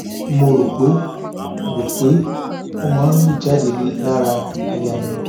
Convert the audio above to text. mo rò pé rò pé ó máa ń lù jáde lára àyà mi